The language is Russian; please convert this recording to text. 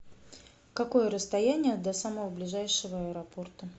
какое расстояние до самого ближайшего аэропорта